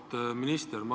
Auväärt minister!